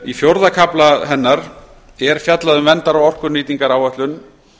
í fjórða kafla hennar er fjallað um verndar og orkunýtingaráætlun